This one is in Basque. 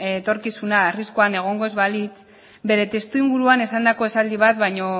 etorkizuna arriskuan egongo ez balitz bere testuinguruan esandako esaldi bat baino